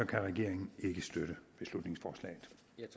kan regeringen ikke støtte beslutningsforslaget